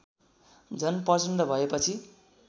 झन प्रचण्ड भएपछि